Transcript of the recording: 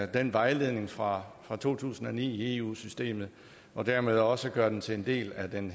den vejledning fra fra to tusind og ni i eu systemet og dermed også gøre den til en del af den